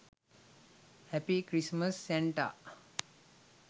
happy christmas santa